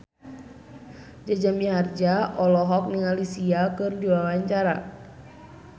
Jaja Mihardja olohok ningali Sia keur diwawancara